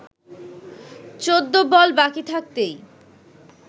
১৪ ball বাকি থাকতেই